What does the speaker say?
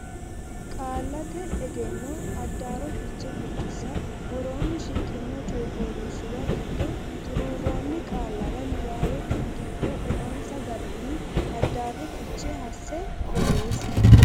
Qaallate Egenno Addaarro Fiche Biddissa Woroonni shiqqino coy fooliishshuwa giddo xuruurroonni qaallara niwaawete giddo eonsa garinni addaarro fiche hasse borreessi.